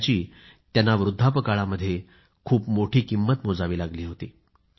त्याची त्यांना वृद्धापकाळामध्ये खूप मोठी किंमत मोजावी लागली होती